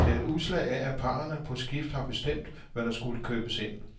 Det er et udslag af, at parrene på skift har bestemt, hvad der skulle købes ind.